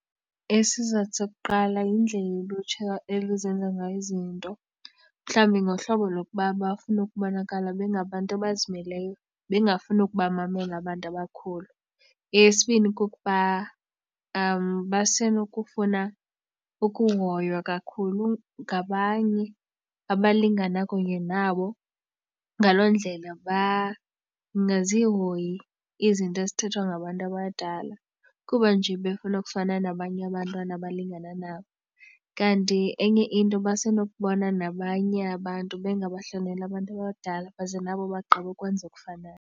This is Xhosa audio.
Isizathu sokuqala yindlela olutsha elizenza ngayo izinto mhlawumbi ngohlobo lokuba bafuna ukubonakala bengabantu abazimeleyo bengafuni ukubamamela abantu abakhulu. Eyesibini kukuba basenokufuna ukuhoywa kakhulu ngabanye abalingana kunye nabo ngaloo ndlela bangazihoyi izinto ezithethwa ngabantu abadala kuba nje befuna ukufana nabanye abantwana abalingana nabo. Kanti enye into basenokubona nabanye abantu bengabahloneli abantu abadala baze nabo bagqibe ukwenza okufanayo.